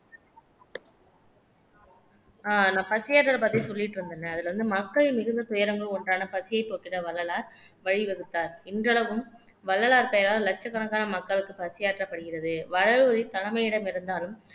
அஹ் நான் பசிஆறுதல் பத்தி சொல்லிட்டு இருந்தேனே அதுல வந்து மக்கள் மிகுந்த துயரங்கள் ஒன்றான பசியை போக்கிட வள்ளலார் வழி வகுத்தார் இன்றளவும் வள்ளலார் பெயரால் லட்சக்கணக்கான மக்களுக்கு பசியாற்றப்படுகிறது வடலூரில் தலைமையிடம் இருந்தாலும்